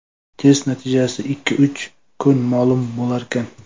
Test natijasi ikki-uch kunda ma’lum bo‘larkan.